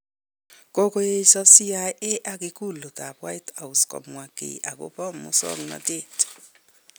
Kokoesyo CIA ak ikulut ab whitehouse komwo ki akobo musaknatenoto